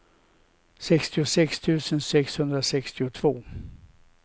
sextiosex tusen sexhundrasextiotvå